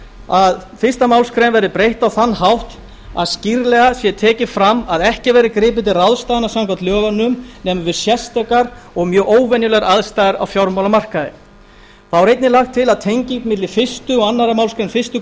að fyrstu málsgrein verði breytt á þann hátt að skýrlega sé tekið fram að ekki verði gripið til ráðstafana samkvæmt lögunum nema við sérstakar og mjög óvenjulegar aðstæður á fjármálamarkaði þá er einnig lagt til að tenging milli fyrstu og annarri málsgrein fyrstu